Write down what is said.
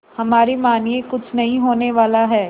हमारी मानिए कुछ नहीं होने वाला है